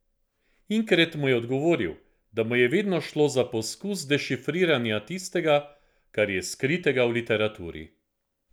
Inkret mu je odgovoril, da mu je vedno šlo za poskus dešifriranja tistega, kar je skritega v literaturi.